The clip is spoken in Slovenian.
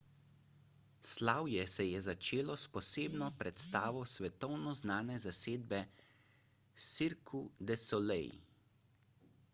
slavje se je začelo s posebno predstavo svetovno znane zasedbe cirque du soleil